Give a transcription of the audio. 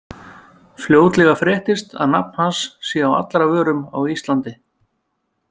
Fljótlega fréttist að nafn hans sé á allra vörum á Íslandi.